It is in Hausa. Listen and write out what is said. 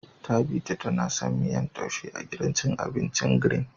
Tabita ta na son miyan taishen gidan cin abincin "green "